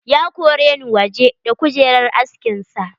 Ya koreni waje da kujerar askin sa.